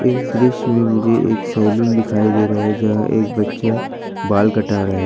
इस दृश्य में मुझे एक सैलून दिखाई दे रहा है जहां एक बच्चा बाल कटा रहा है।